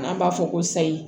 An b'a fɔ ko sayi